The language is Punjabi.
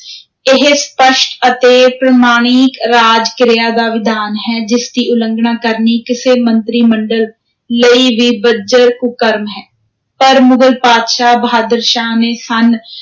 ਇਹ ਸਪੱਸ਼ਟ ਅਤੇ ਪ੍ਰਮਾਣੀਕ ਰਾਜ-ਕ੍ਰਿਆ ਦਾ ਵਿਧਾਨ ਹੈ, ਜਿਸ ਦੀ ਉਲੰਘਣਾ ਕਰਨੀ, ਕਿਸੇ ਮੰਤਰੀ-ਮੰਡਲ ਲਈ ਵੀ ਬੱਜਰ ਕੁਕਰਮ ਹੈ, ਪਰ ਮੁਗ਼ਲ ਪਾਤਸ਼ਾਹ, ਬਹਾਦਰ ਸ਼ਾਹ ਨੇ ਸੰਨ